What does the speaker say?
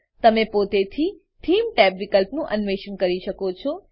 તમે પોતેથી theme tab વિકલ્પનું અન્વેષણ કરી શકો છો